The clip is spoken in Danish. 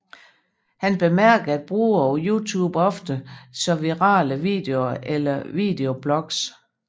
Han bemærkede at brugere på YouTube ofte så virale videoer eller videoblogs